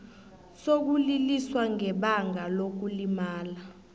sokuliliswa ngebanga lokulimala